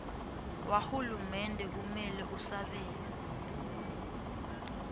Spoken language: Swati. wahulumende kumele usabele